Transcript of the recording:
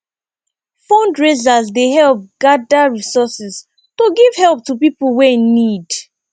fundraisers dey help gather resources to giv help to pipo wey need